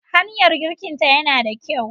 Hanyar girkinta yana da kyau.